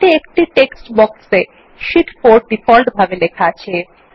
তাতে একটি text box এ শীট 4 ডিফল্টভাবে লেখা আছে